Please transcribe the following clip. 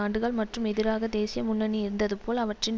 ஆண்டுகள் மற்றும் எதிராக தேசிய முன்னணி இருந்தது போல் அவற்றின்